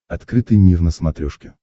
открытый мир на смотрешке